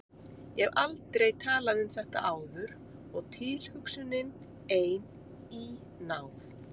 Ég hef aldrei talað um þetta áður og tilhugsunin ein, í ná